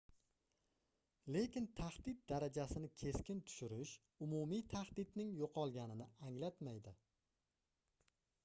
lekin tahdid darajasini keskin tushirish umumiy tahdidning yoʻqolganini anglatmaydi